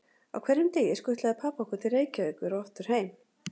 Á hverjum degi skutlaði pabbi okkur til Reykjavíkur og aftur heim.